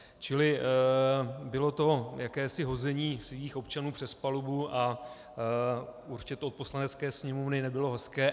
Čili bylo to jakési hození svých občanů přes palubu a určitě to od poslanecké sněmovny nebylo hezké.